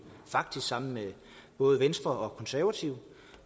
faktisk sammen med både venstre og konservative